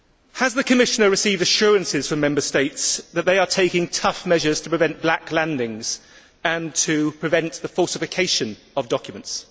Has the Commissioner received assurances from Member States that they are taking tough measures to prevent black landings and to prevent the falsification of documents?